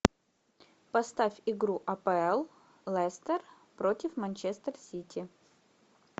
поставь игру апл лестер против манчестер сити